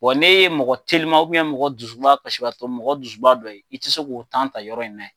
Wa n'e ye mɔgɔ teliman mɔgɔ dusuba kasibaatɔ, mɔgɔ dusuba dɔ ye i tɛ se k'o ta yɔrɔ in na yen.